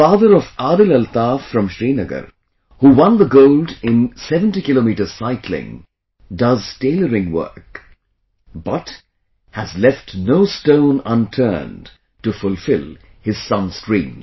Father of Adil Altaf from Srinagar, who won the gold in 70 km cycling, does tailoring work, but, has left no stone unturned to fulfill his son's dreams